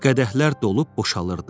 Qədəhlər dolub boşalırdı.